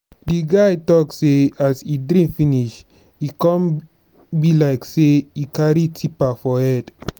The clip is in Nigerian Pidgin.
di guy talk sey as e drink finish e come be like sey e carry tipa for head.